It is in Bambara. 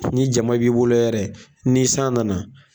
Ni jama b'i bolo yɛrɛ ni san nana